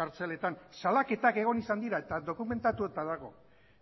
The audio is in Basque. kartzeletan salaketak egon izan dira eta dokumentatuta dago